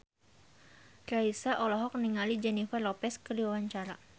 Raisa olohok ningali Jennifer Lopez keur diwawancara